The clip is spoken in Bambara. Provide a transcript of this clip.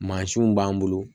Mansinw b'an bolo